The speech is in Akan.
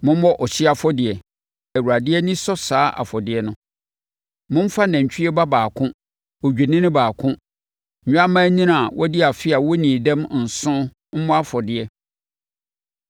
Mommɔ ɔhyeɛ afɔdeɛ. Awurade ani sɔ saa afɔdeɛ no. Momfa nantwie ba baako, odwennini baako, nnwammaanini a wɔadi afe a wɔnnii dɛm nson mmɔ afɔdeɛ.